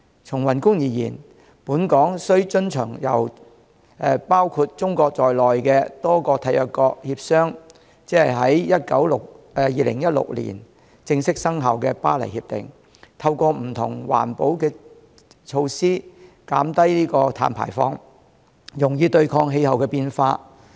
從宏觀而言，本港須遵循由包括中國在內的多個締約國協商，在2016年正式生效的《巴黎協定》，透過不同環保措施減低碳排放，用以對抗氣候變化。